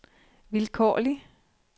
vilkårlig